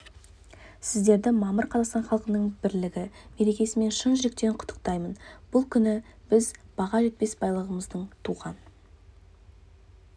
сіздерді мамыр қазақстан халқының бірлігі мерекесімен шын жүректен құттықтаймын бұл күні біз баға жетпес байлығымызды туған